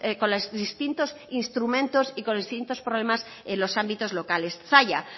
con los distintos instrumentos y con los distintos problemas en los ámbitos locales zalla